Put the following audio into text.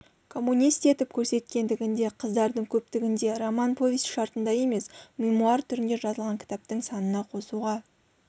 коммунист етіп көрсеткендігінде қыздардың көптігінде роман повесть шартында емес мемуар түрінде жазылған кітаптың санына қосуға